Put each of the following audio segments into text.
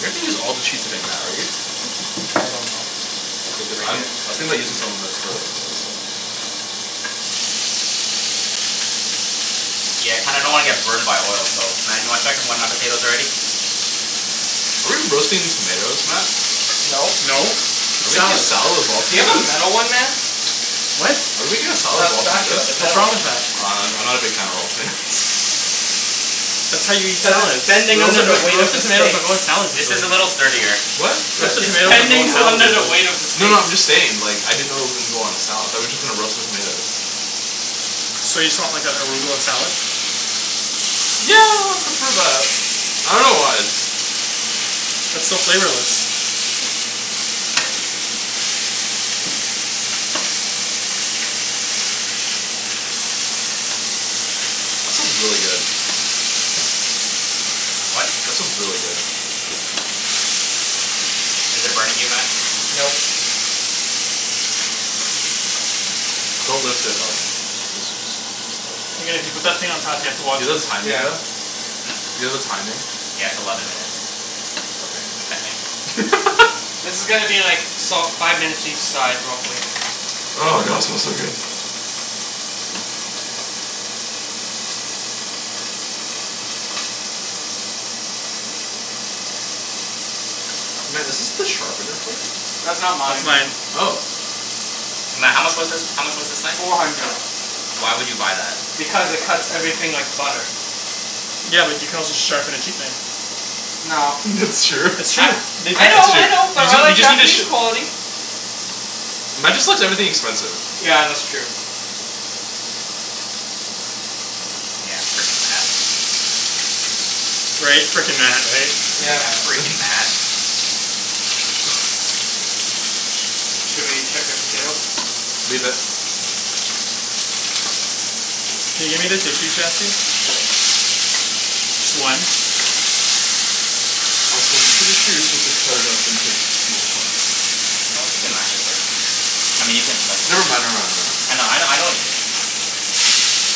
You're not gonna use all the cheese today Matt are you? I don't know. Because I'm I was thinking about using some of that for other stuff. Yeah, I kinda don't wanna get burned by oil so Matt do you wanna check when my potatoes are ready? Are we roasting tomatoes, Matt? No. No, Are it's we making a salad. salad of all Do you have a tomatoes? metal one man? What? Are we making a salad A of all spatula, tomatoes? the What's metal wrong one. with that? I'm I'm not a big fan of all tomatoes. That's how you eat Cuz it's salads. bending under Roasted the like weight of the roasted tomatoes steak. don't go in salads This regularly. is a little sturdier. What? Cuz Roasted it's tomatoes don't go in bending salads under the regularly. weight of the No steak. no I'm just saying like I didn't know it was gonna go on a salad. Thought we were just gonna roast the tomatoes. So you just want like an arugula salad? Yeah I'd prefer that. I dunno why. That's so flavorless. That smells really good. What? That smells really good. Is it burning you Matt? No. Don't lift it out then. Just just let it put that thing on top here to wash it. Yeah. Do you have a timing? Yeah, it's eleven minutes. Okay. I think. This is gonna be like salt five minutes each side real quick. Oh god smells so good. Matt, is this the sharpener for it? That's not That's mine. mine. Oh. Matt, how much was this? How much was this knife? Four hundred. Why would you buy that? Because it cuts everything like butter. Yeah, but you can also just sharpen a cheap knife. No. That's true. It's I true. We I know That's tested true. I it. know You but I just you like just need to Japanese sh- quality. Matt just likes everything expensive. Yeah, that's true. Yeah, freaking Matt. Right? Freaking Matt, right? Yeah. Yeah, Freaking Matt. freaking Matt. Should we check your potatoes? Leave it. Can you? Sure. Just one. Also I'm pretty sure you're supposed to cut it up into small chunks. As long as you can mash it first. I mean you can Never like. mind, I never mind, know I know never mind. I know what you mean.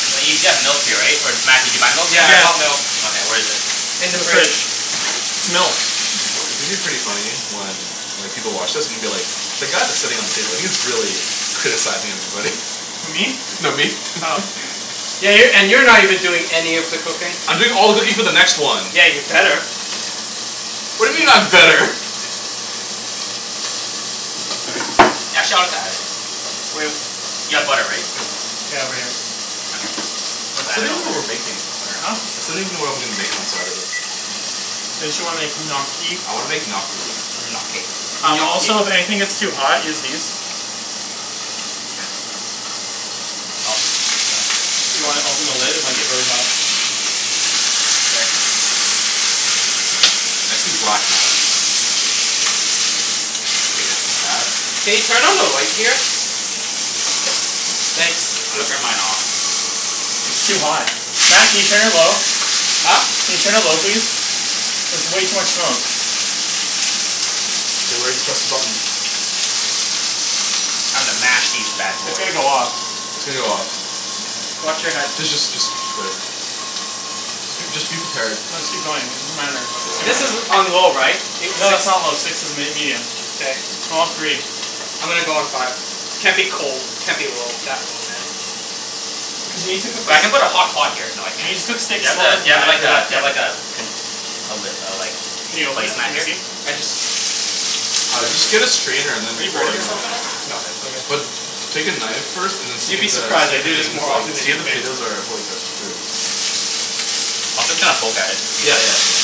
Wait, you still have milk here right? Or did Matt did you buy milk? Yeah I bought milk. Okay, where is it? In In the the fridge. fridge. Milk. It's gonna be pretty funny when like people watch this and be like "The guy that's sitting at the table, he's really criticizing everybody." Who me? No, me. Oh. Yeah, you're and you're not even doing any of the cooking. I'm doing all the cooking for the next one. Yeah, you'd better. What He's do you being mean I'm sincere. better? Y'all chill we got it. You have butter right? Yeah over here. Okay, I still don't put even know what we're making. that Huh? I still don't even know what I'm making on Saturday. Didn't you wanna make gnocchi? I wanna make gnocchi. Gnocchi. Gnocchi. Also if anything gets too hot, use these. Do you wanna open the lid? It might get really hot. I see black, Matt. Matt? Can you turn on the light here? Thanks. Turn mine off. It's too hot. Matt can you turn it low? Huh? Can you turn it low please? There's way too much smoke. Get ready to press the button. I'm gonna mash these bad It's gonna boys. go off. It's gonna go off. Watch your head. D- just just just wait. J- just be prepared. No just keep going. It doesn't matter but it's This is gonna. on low right? It No six? that's not low, six is m- medium. K. Go on three. I'm gonna go on five. Can't be cold. Can't be low that low man Cuz you need to cook the So s- I'm gonna put a hot pot here you need so to I cook can steak Do slower than you that have after the that do bit. you have like a do you have like a pi- lid Can you like open it? Matt Can we just see? used? I just Uh just get a strainer and Are then you pour burning it in. yourself at all? No Okay. But take a knife first and see You'd if be the surprised. see I if the do this thing is more like often than see you if the think. potatoes are fully cooked through. I'll just kinda poke at it. Yeah, yeah yeah yeah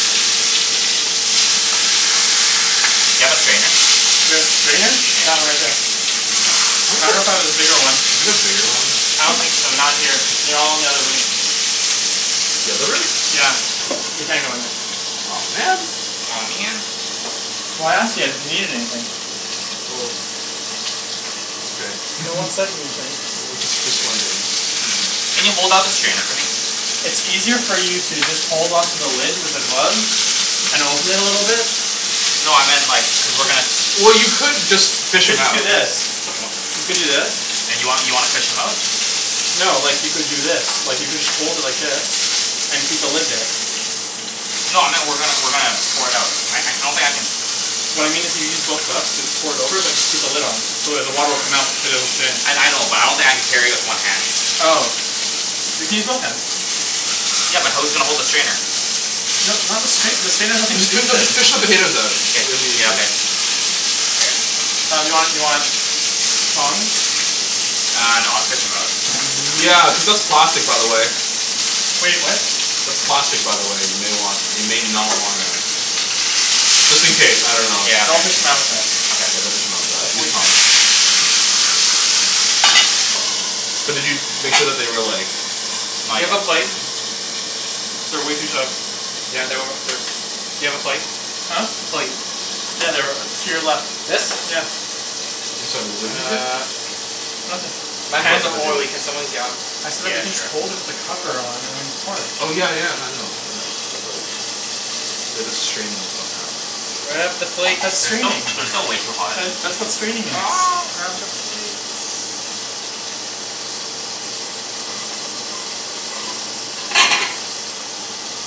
Do you have a strainer? Do I have strainer? That one right there. I dunno if I have a bigger one. Do you have a bigger one? I don't think so. Not here. They're all in the other room. The other room? Yeah, we can't go in there. Aw man. Aw man. Well I asked you guys if you need anything. Well. Okay. No one said anything. No, just just wondering. Can you hold up the strainer for me? It's easier for you to just hold on to the lid with the gloves and open it a little bit. No I meant like cuz we're gonna s- Well you could just You fish should 'em just do out. this. You could do this. And you want you wanna fish 'em out? No, like you could do this. Like you could hold it like this, and keep the lid there. No I meant we're gonna we're gonna pour it out. I don't think I can What I mean is you use both gloves and pour it over but just keep the lid on. So it the water will come out but the potatoes will stay in. I I know but I don't think I can carry it with one hand. Oh. You can use both hands. Yeah, but who's gonna hold the strainer? No not the strainer, the strainer has nothing to Just do fi- with no just it. fish the potatoes out it it'll be Yeah easier. okay Um do you want do you want tongs? Uh no I'll just fish 'em out. Yeah, cuz that's plastic by the way. Wait, what? That's plastic by the way, you may want you may not wanna Just in case, I dunno. Yeah. Don't fish 'em out with that. Yeah, don't Okay. fish 'em out like that. That's way Use too tongs. But did you make sure that they were like Not Do you yet. have a plate? They're way too tough Yeah they were they do you have a plate? Huh? Plate. Yeah, they're to your left. This? Yeah. I'm sorry, wait, what did you say? Nothin' My hands About the are potatoes. oily, can someone get 'em? I said that Yeah, you can just hold it sure. with the cover on and pour it. Oh yeah yeah no I know I know but like We have to strain them somehow, and finish it. Grab the That's plate that's They're still straining. they're still way too hot. That's what straining is. Grab the plate.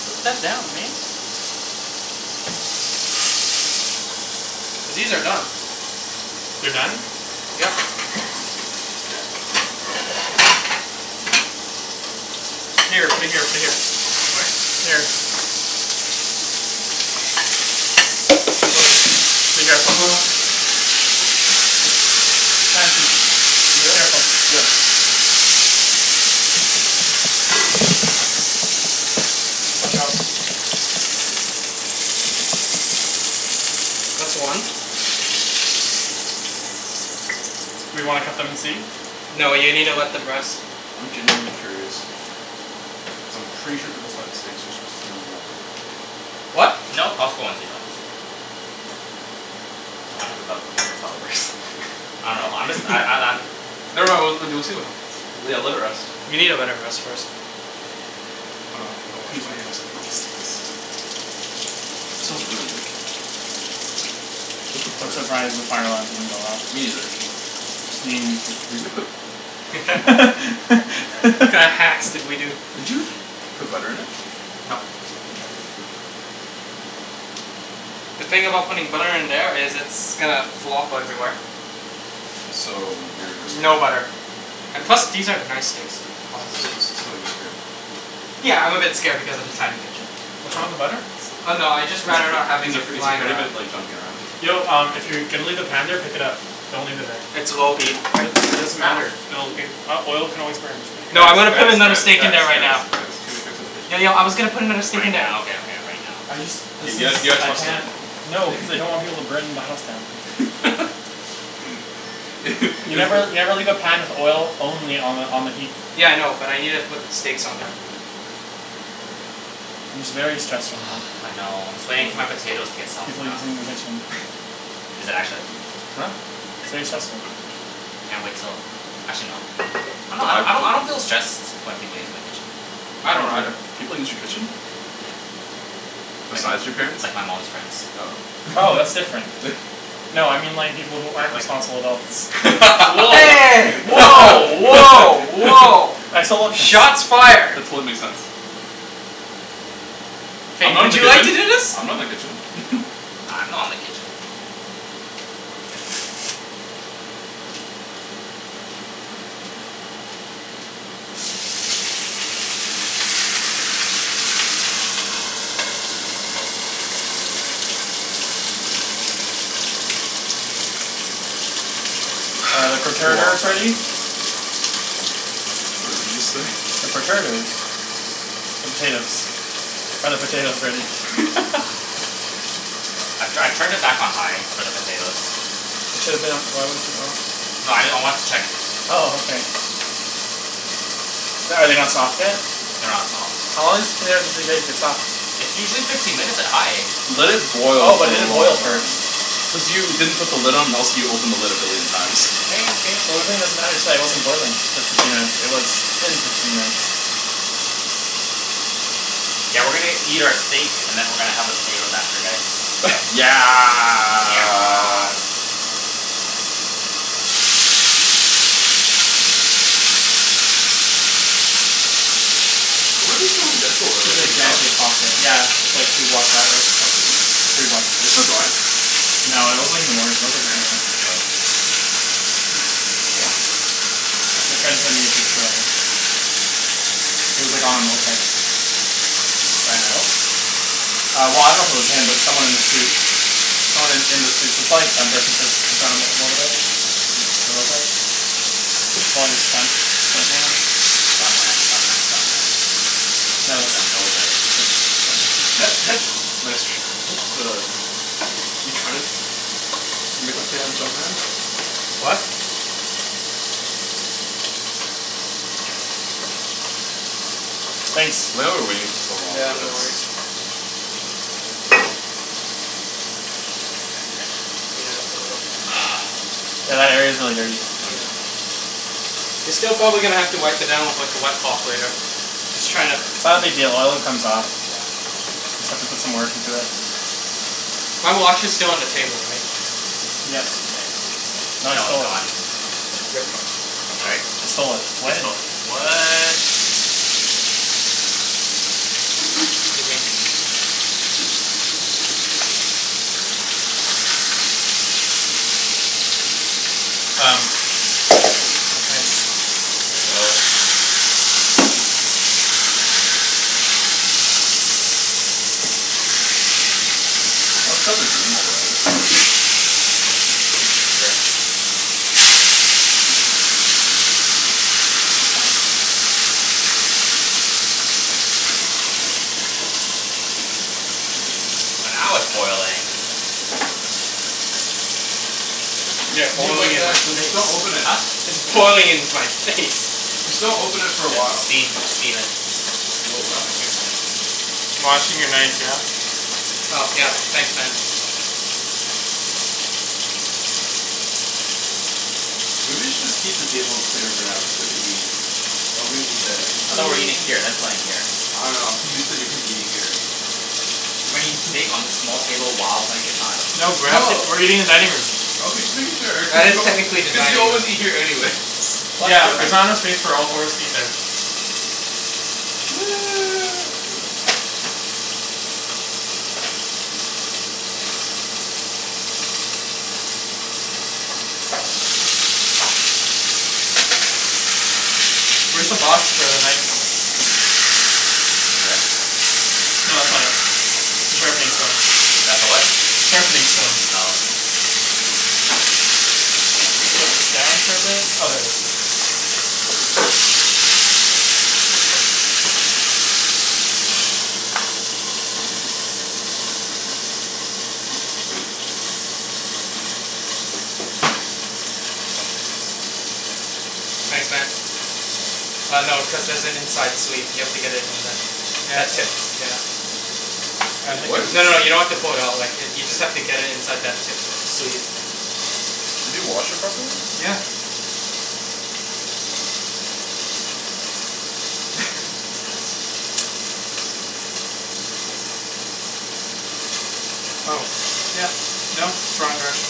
Put that down, man. These are done. They're done? Yep. Here, put it here put it here. What? Here. be careful. Chancey. Yeah? Careful. Yeah. Watch out. That's one. We wanna cut them and see? No you needa let them rest. I'm genuinely curious. Cuz I'm pretty sure for those types of steaks you're supposed to put 'em in the oven. What? No, Costco ones you don't. I dunno I'm just I'm I'm I'm Never mind, we'll we'll see what happens. Yeah, let it rest. You needa let it rest first. Hold on, gotta wash Who's ready my for hands. some raw steaks? That smells really good though. Where's the I'm butter? surprised the fire alarm didn't go off. Me neither. You mean you too. Were you gonna put What kinda hacks did we do? Did you put butter in it? Nope. Okay. The thing about putting butter in there is it's gonna flop everywhere. So you're scared. No butter. And plus these are nice steaks so So so so you're scared. Yeah, I'm a bit scared because of the tiny kitchen. What's wrong with the butter? So Oh no, I'd just rather not having he's it afraid he's flying afraid of around. it like jumping around. Yo um if you're gonna leave the pan there pick it up. Don't leave it there. It's low heat. What? It doesn't matter. It'll it oil can always burn. Just put it No I'm Guys gonna here. guys put another guys steak in guys there right guys now. guys, too many cooks in the kitchen. Yo yo I was gonna put another steak Right in there. now, okay okay right now. I just let's K, guys, just you got I trust him. can't no cuz I don't want people to burn my house down. You never you You've never leave a pan with oil only on the on the heat. Yeah I know, but I needa put steaks on there. I'm just very stressed right now I know, I'm just waiting for my potatoes to get soft People using the though. kitchen. Is it actually? Huh? It's very stressful. Can't wait till actually no I don't I don't I don't feel stressed when people use my kitchen. I I don't do. either. People use your kitchen? Like, Besides your parents? like my mom's friends. Oh, Oh, that's different. No I mean like people who aren't responsible adults. Hey! Woah woah woah! I still don't Shots fired. That totally makes sense. I'm Hey, not in would the you like to kitchen. do this? I'm not in the kitchen. I'm not in the kitchen. Are the It's a long perterters ready? time. What did you say? The perterters The potatoes. Are the potatoes ready? I'm tryin' I turned it back on high for the potatoes. It should've been on. Why wasn't it on? No I know I wanted to check. Oh okay. The- are they not soft yet? They're not soft. How long does a potato usually take to get soft? It's usually fifteen minutes at high. Let it Oh, boil for but it a didn't long boil time. first. Cuz you didn't put the lid on else you opened the lid a billion times. The lid thing doesn't matter it just wasn't boiling for fifteen minutes. It was in for fifteen minutes. Yeah, we're gonna eat our steak and then we're gonna have our potato after this. Yeah Yeah Where were they filming Deadpool earlier, do you know? Yeah, it's like two blocks that way, Oh seriously? or three blocks. Are they still going? No, that was like in the morning. That was like nine AM. Oh Damn. My Wanted friend sent me to a picture of it. He was like on a moped. Ryan Reynolds? Uh well I dunno if it was him but it was someone in a suit. Someone in in the suit, so it's probably stunt person since it's on on motorbike. Mhm. A moped. Probably a stunt stunt man. Stunt man stunt man stunt man. No Just it's jumped over it's Nice tr- what the? You tryin' to Make a play on jump man? Yeah. What? Thanks. Why are we waiting for so long Yeah, for no this? worries. Yeah, a little. Yeah that area's really dirty. Yeah. You're still gonna probably have to wipe it down with like a wet cloth later. Just tryin' to It's not a big deal, oil it comes off. Yeah. Just have to put some work into it. My watch is still on the table, right? Yes. K. No, it's gone. Yep. Right? I stole it He sto- what? 'scuse me. Um Um, it's Nice. Let's set up the game while we're at it. Sure. Oh now it's boiling. Yeah, Leave it boiling like in my that j- face. just don't open it. Huh? It's boiling in my face. Just don't open it for a The while. steam steam it Whoa, what happened here? Washing your knife, yeah? Oh yeah, thanks man. Uh maybe we should just keep the table clear for now cuz we have to eat. Oh we're gonna eat there. I thought we're eating here and then playing here. I dunno I'm too used to Ibrahim eating here. We're gonna eat steak on this small table while playing Catan? No, we're actually No we're eating in dining room. Okay just making sure, Well cuz it's you al- technically the cuz you dining room. always eat here anyways What's Yeah, but there's different? not enough space for all four of us to eat there. Okay whatever. Where's the box for the knife? Over there? No that's not it, that's the sharpening stone. That's the what? Sharpening stone. Oh. Put this down for a bit. Oh there it is. Thanks, man. Uh no, cuz there's an inside sleeve, you have to get it in there. Yeah, it's That not tip, yeah. I There think was? it's No no, you don't have to fold it out. Like if you just have to get it inside that tip sleeve. Did you wash it properly? Yeah. Oh yeah no it's wrong direction.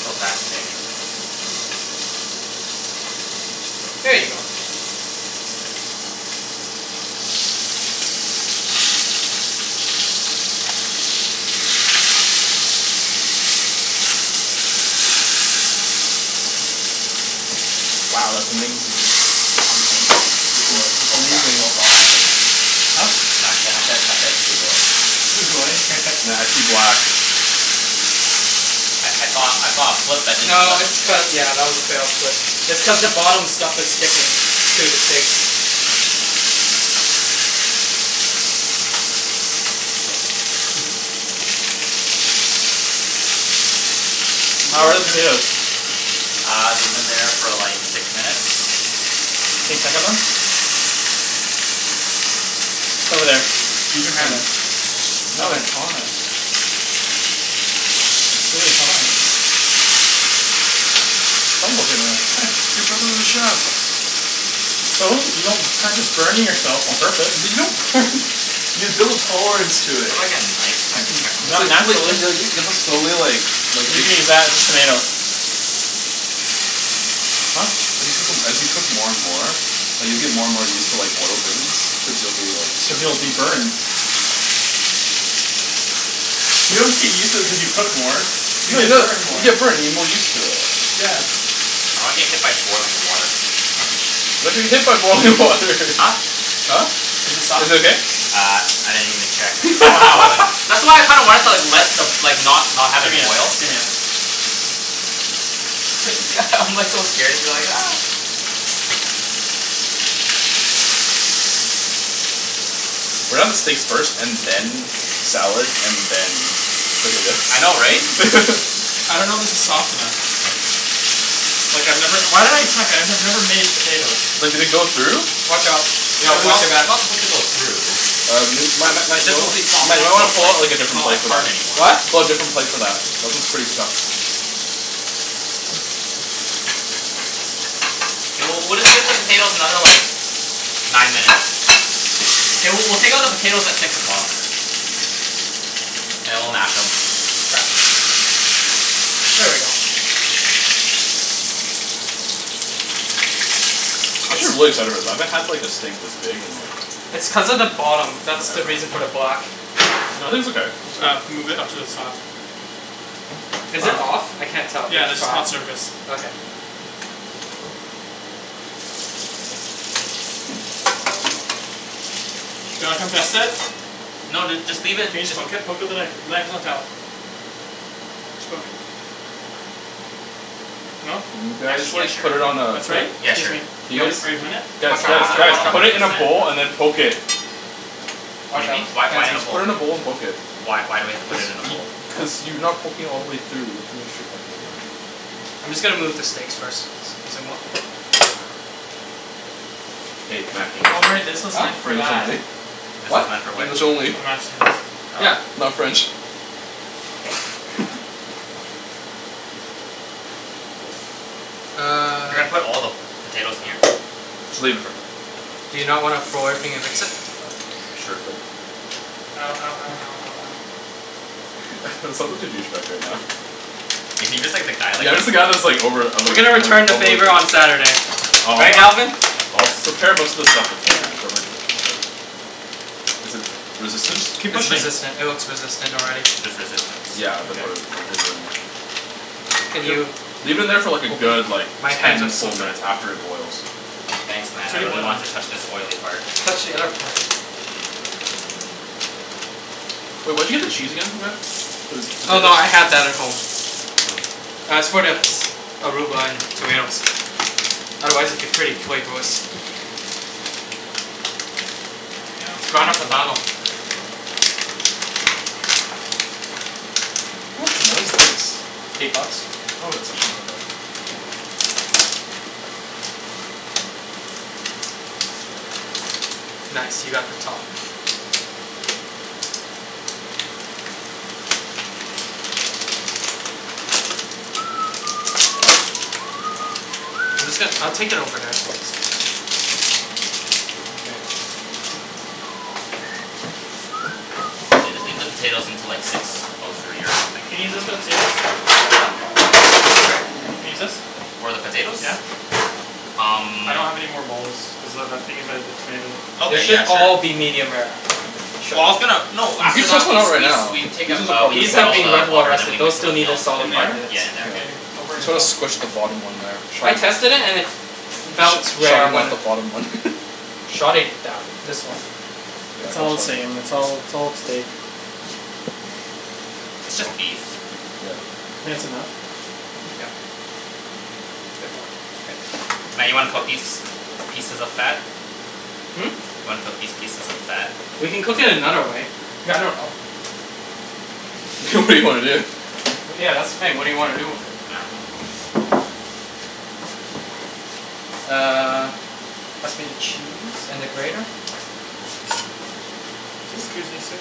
So fascinating. There you go. Wow that's amazing. Amazing. Sugoi. It's Oh crap, amazing. oh wrong language. Huh? No I said I said I said sugoi. Sugoi? Matt, I see black. I I thought I thought it flipped but it didn't No flip. it's cu- yeah that was a fail but it's cuz the bottom stuff is sticking to the steak. Yeah. Did we How are the let that finish? potatoes? Uh they've been there for like six minutes. Can you check 'em then? It's over there. Use Over your hand. there. No, it's Hand. hot. It's really hot. Don't look at me like that. You're driving with a chef. So? You don't practice burning yourself on purpose. L- you don't burn you build tolerance to Do you it. have like a knife so I can check on N- It's not like this? you like naturally. you have to slowly like like You can use that, just tomato. Huh? As you cook 'em as you cook more and more like you'll get more and more used to like oil burns cuz you'll be like Cuz you'll be burned. You don't get used to it cuz you cook more. You No you get no burned more. you get burned you get more used to it. Yeah. I don't wanna get hit by boiling water. You're not gonna get hit by boiling water Huh? Huh? Is it soft? Is it okay? Uh I didn't even check cuz it's like Wow. boiling. That's why I kinda wanted to like let the like not not have it Gimme it, boil. gimme it. It's g- I'm like so scared. I'm like We're gonna have the steak first and then salad and then I know, right? potatoes. I dunno if this is soft enough. Like I've never- why did I check? I've never made potatoes. But did they go through? Watch out. Yo, watch It's- your it's back. not supposed to go through. Uh m- Matt- Matt- It's Matt- you just know supposed to be what? soft Matt you enough know so what? it's Pull like out like a it's different not like plate for hard that. anymore. What? Pull out a different plate for that. That one's pretty stuffed. We'll- we'll take out the potatoes another like nine minutes. Mkay, w- we'll take out the potatoes at six o'clock. And then we'll mash 'em. Here we go. I should really settle with that, I haven't had like a steak this big in like- It's cuz of the bottom. That's the reason Forever. for the black. No, I think it's okay. Uh, move it up to the top. Is it off? I can't tell. Yeah, It's this is five. hot surface. Okay. Do you wanna come test it? No dude, just leave it. Can you just poke it? Poke with a knife. The knife is on the shelf Just poke it. No? Actually yeah, sure. put it on a- That's right? Yeah, sure. Are you are you hunnid? Guys, Watch Uh, out, guys, watch, out I'm guys. watch not out. one Put hundred it in a percent bowl and then poke it. What do you mean? Why- why in this Just bowl? put it in a bowl and poke it. Why- why we have to put it in a bowl? Cuz you are not poking all the way through. I'm just gonna move the steaks first. excusez-moi. Hey Matt, English Oh only. right, this was Huh? meant for English that. only. This What? is not for which? English only. For the mashed potatoes. Yeah. Oh. Not French. Uh. You're gonna put all the potatoes in here? Just leave it Do you not wanna throw everything and mix it? Sure go Ow, ow, ow, ow, ow, ow. I sound like a douche bag right now. Yeah. He's just the guy, like Yeah. I'm he's just the guy all- that's like over- I'm We're like- gonna I'm return like the overlooking. favor on Saturday. Right, Oh, Alvin? of course. prepare most of the stuff beforehand, don't worry too much about it. Is it resistance? Keep It's pushing. resistant. It looks resistant already. There's resistance. Yeah, I'm gonna Okay. put it, then leave it in there. Can you Leave it in there for like a open? good, like, My hands are ten full slippery. minutes after it boils. Thanks It's Matt, I already really boiling. want to touch this oily part. Touch the other part. Wait, where did you get the cheese again Matt? For the Oh potatoes? no, I had that at home. Uh, it's for the arugula and tomatoes. Otherwise it'd be pretty flavorless. Lemme out, Grana lemme Padano. out. How much is this? Eight bucks. Oh, that's actually not that bad. Nice, you got the top. Here you go. I'm just gon- I'll take it over there so it's not- Mkay. Yeah. Just leave the potatoes until like six or nine minutes Can I use this for the potatoes? Can I use this? For the potatoes? Yeah. Um. I don't have any more bowls, cuz that- that's being used by the tomatoes. They Okay, should yeah sure. all be medium rare. Well I was gonna... No, You after could that do we- it right we- now. we take out- we These take out have all been in the the water water. and then we Those mix it still with need a milk. Yeah In solid five there? minutes. in there. Okay, don't You burn need to yourself. squish the bottom one there. I tested it and it felt rare Sorry when about I- the bottom one. Shove it down. This one. It's all the same. Yeah It's all- it's all steak. It's just beef. Yeah. Think that's enough? Yeah. Yep. It's Okay. Matt, you wanna cook these pieces of fat? Hmm? Want to cook these pieces of fat? We can cook it another way. I dunno. It's okay. good idea. Well yeah that's the thing. What do you wanna do with it? Uh. Pass me the cheese and the grater. Just, scusi, sir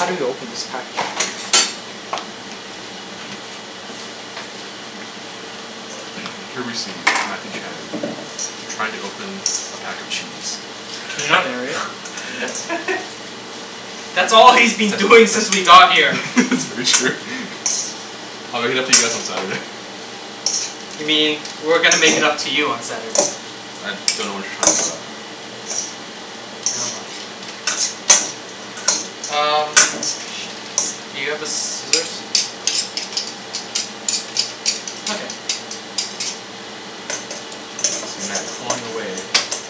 How do you open this package? Here we see Matthew Chan, trying to open a pack of cheese. Can you not narrate? That's all he's been doing since we got here. That's very true. I'll make it up to you guys on Saturday. You mean we're gonna make it up to you on Saturday. I dunno what you're talking about. Nevermind. Um, where is the thing? Do you have the scissors? I got it. You see Matt clawing away